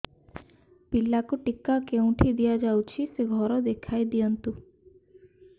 ପିଲାକୁ ଟିକା କେଉଁଠି ଦିଆଯାଉଛି ସେ ଘର ଦେଖାଇ ଦିଅନ୍ତୁ